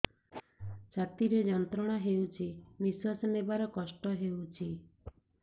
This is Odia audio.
ଛାତି ରେ ଯନ୍ତ୍ରଣା ହେଉଛି ନିଶ୍ଵାସ ନେବାର କଷ୍ଟ ହେଉଛି